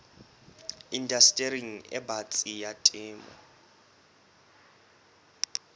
indastering e batsi ya temo